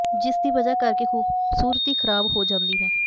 ਜਿਸ ਦੀ ਵਜ੍ਹਾ ਕਰ ਕੇ ਖ਼ੂਬਸੂਰਤੀ ਖ਼ਰਾਬ ਹੋ ਜਾਂਦੀ ਹੈ